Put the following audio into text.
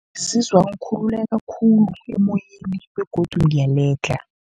Ngizizwa ngikhululeka khulu emoyeni begodu ngiyaledlha.